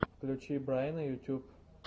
включи брайна ютьюб